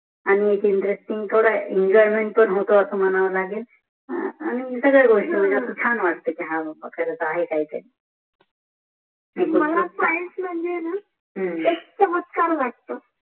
आणि इंत्रेस्तिग पण इंजोय्मेंत पण होत अस मानव पण लागेल आणि सगळ्याचा गोष्टी शान वाटते माल सायन्स माजे न